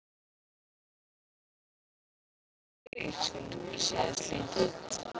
En hvernig ætli skuldir íslenska ríkisins líti út?